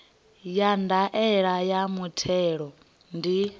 ya ndaela ya muthelo ndi